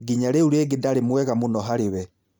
Nginya rĩu rĩngĩ ndarĩ mwega mũno harĩ we.